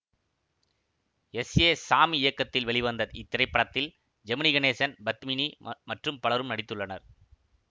S A Sami இயக்கத்தில் வெளிவந்த இத்திரைப்படத்தில் ஜெமினி கணேசன் பத்மினி மற்றும் பலரும் நடித்துள்ளனர்